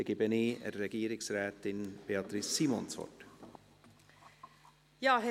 Dann gebe ich Regierungsrätin Beatrice Simon das Wort.